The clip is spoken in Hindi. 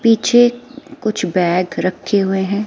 पीछे कुछ बैग रखे हुए हैं।